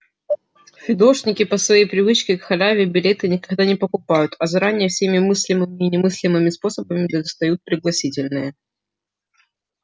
фидошники по своей привычке к халяве билеты никогда не покупают а заранее всеми мыслимыми и немыслимыми способами достают пригласительные